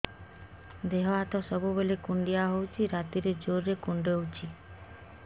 ଦେହ ହାତ ସବୁବେଳେ କୁଣ୍ଡିଆ ହଉଚି ରାତିରେ ଜୁର୍ କୁଣ୍ଡଉଚି